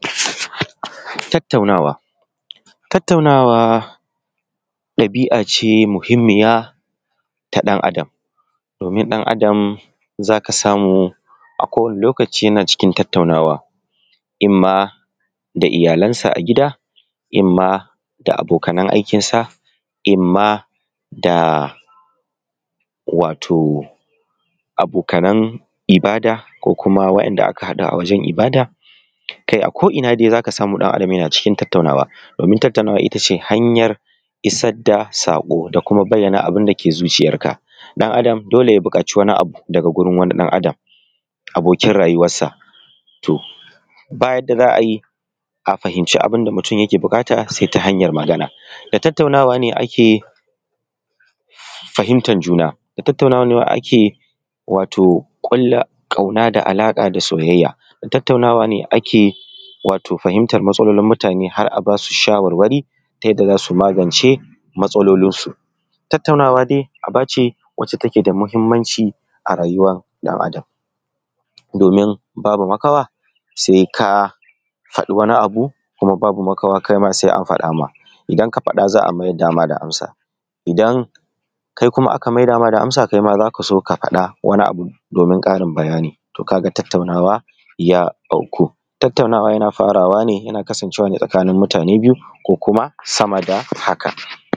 Tattaunawa, tattaunawa ɗabi'a ce muhimmiya domin ɗan Adam za ka samu a kowane lokaci za ka samu yana cikin tattaunawa in ma da iyalansa a gida in ma da wato abokanan ibada wanda aka haɗa a wajen ibada, kai a ko'ina di za ka samu ɗan Adam yana cikin tattaunawa. Domin tattaunawa ita ce hanyar isar da saƙo da kuma bayyana abun da yake cikin zuciyarka. Ɗan Adam dole ya bukaci wani abu daga wurin wani ɗan Adam abokin rayuwar sa. Ba yadda za a yi a fahimci abun da mutum yake buƙata sai ta hanyar magana, da tattaunawa ne ake fahimtar juna. Da tattaunawa ne ake ƙulla alaƙa da soyayya. Da tattaunawa ne ake wato ji matsalolin mutane har a ba su shawarwari ta yadda za su magance matsalolinsu. Tattaunawa dai aba ce wacce take da muhimmanci a rayuwar ɗan Adam, domin babu makawa sai ka faɗi wani abu kuma babu makawa sai an faɗa ma .idan ka fada za a mai da ma da amsa, idan kai aka maida ma da amsa kai ma za ka faɗi wabi abun domin karin bayani, ka ga tattaunawa ya auku. Tattaunawa yana farawa ne kasance ne tsakanin mutane biyu ko sama da haka.